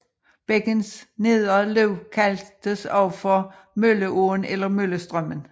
Bækkens nedre løb kaldtes også for Mølleåen eller Møllestrømmen